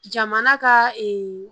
Jamana ka